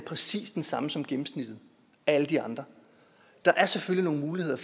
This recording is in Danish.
præcis den samme som gennemsnittet af alle de andre der er selvfølgelig nogle muligheder